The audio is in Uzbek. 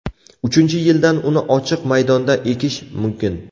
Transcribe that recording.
Uchinchi yildan uni ochiq maydonda ekish mumkin.